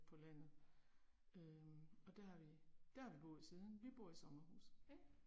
På landet øh og der har vi, der har vi boet siden, vi bor i sommerhus